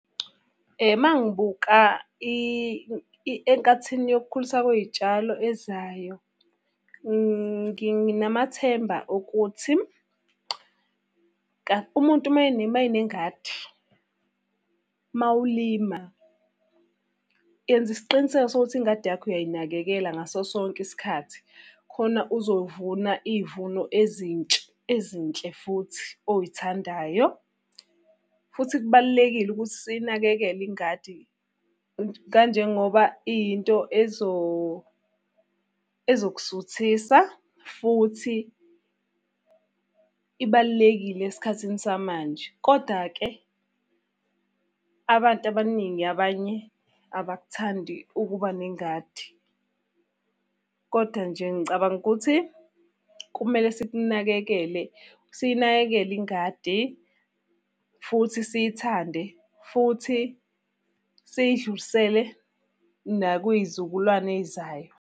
Uma ngibuka enkathini yokukhuliswa kwey'tshalo ezayo, nginamathemba okuthi, umuntu uma enengadi, uma ulima, yenza isiqiniseko sokuthi ingadi yakho uyayinakekela ngaso sonke isikhathi. Khona uzovuna iy'vuno ezintsha ezinhle futhi oyithandayo. Futhi kubalulekile ukuthi siyinakekele ingadi, kanjengoba iyinto ezokusuthisa, futhi ibalulekile esikhathini samanje. Koda-ke abantu abaningi abanye abakuthandi ukuba nengadi. Koda nje ngicabanga ukuthi kumele sikunakekele, siyinakekele ingadi futhi siyithande, futhi siyidlulisele nakwiy'zukulwane ey'zayo.